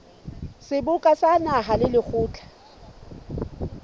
seboka sa naha le lekgotla